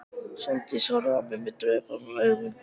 Sóldís horfði á mig döprum augum.